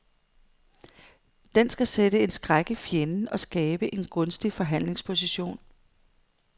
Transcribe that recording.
Den skal sætte en skræk i fjenden og skabe en gunstig forhandlingsposition.